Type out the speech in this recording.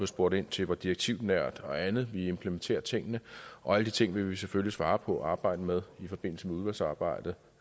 spurgt ind til hvor direktivnært og andet vi implementerer tingene og alle de ting vil vi selvfølgelig svare på og arbejde med i forbindelse med udvalgsarbejdet